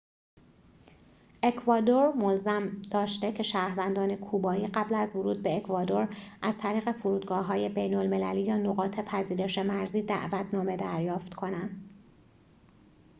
اکوادور ملزم داشته که شهروندان کوبایی قبل از ورود به اکوادور از طریق فرودگاه‌های بین‌المللی یا نقاط پذیرش مرزی دعوتنامه دریافت کنند